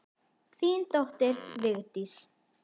Þín dóttir, Vigdís.